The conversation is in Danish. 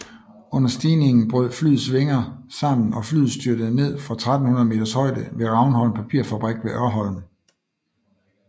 Under stigningen brød flyets vinger sammen og flyet styrtede ned fra 1300 meters højde ved Ravnholm Papirfabrik ved Ørholm